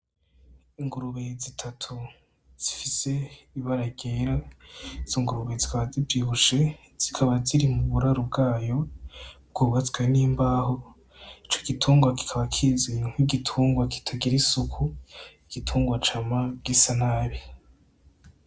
Ingurube zitatu zifise ibara ryera izo ngurube zikaba zivyibushe zikaba ziri mu buraro bwayo bwubatswe n'imbaho ico gitungwa kikaba kizwi nki gitungwa kitagira isuku igitungwa cama gisa nabi.